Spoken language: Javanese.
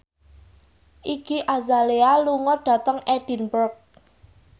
Iggy Azalea lunga dhateng Edinburgh